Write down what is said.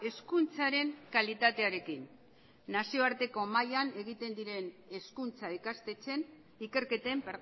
hezkuntzaren kalitatearekin nazioarteko maila egiten diren hezkuntza ikastetxeen ikerketen